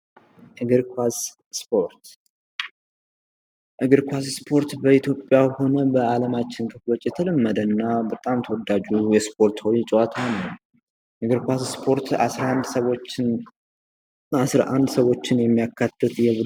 በስፖርት ውስጥ መሳተፍ የቡድን ስራን፣ ተግሣጽን፣ ጽናትንና ስትራቴጂካዊ አስተሳሰብን የመሳሰሉ ጠቃሚ ክህሎቶችን ያዳብራል